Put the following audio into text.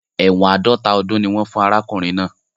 Ẹ̀wọ́n àádọ́ta ọdún ni wọ́n fún arákùnrin náà.